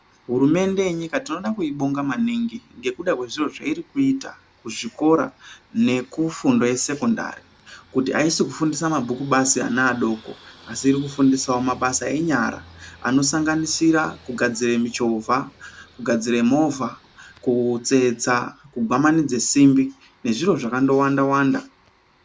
Hurumende yenyika tinoda kubonga maningi ngekuda kwezviro zveiri kuita kuzvikora nekufundo yesekondari kuti ayisi kufundisa mabhuku basi ana adoko asi iri kufundisawo mabasa enyara anosanganisira kugadzire michovha, kugadzire movha, kutsetsa kugwamanidze simbi nezviro zvakando wanda wanda.